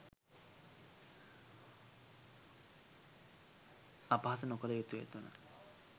අපහාස නොකළ යුතුය.3